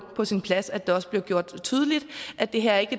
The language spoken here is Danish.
på sin plads at det også bliver gjort tydeligt at det her ikke